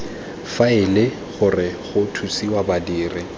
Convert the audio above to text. faele gore go thusiwe badiri